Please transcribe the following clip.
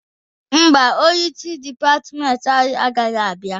Mba, onyeisi dịpatịmentị anyị anaghị abịa.